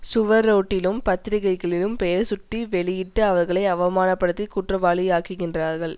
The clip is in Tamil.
சுவரொட்டிலும் பத்திரிக்கைகளிலும் பெயர் சுட்டி வெளியிட்டு அவர்களை அவமான படுத்தி குற்றவாளி அக்குகின்ரர்கள்